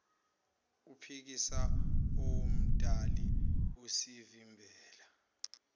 ophikisa owomdali usivimbela